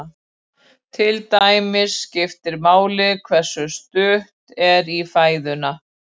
Til dæmis skiptir máli hversu stutt er í fæðuna.